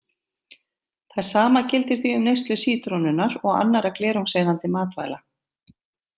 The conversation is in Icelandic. Það sama gildir því um neyslu sítrónunnar og annarra glerungseyðandi matvæla.